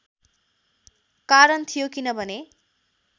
कारण थियो किनभने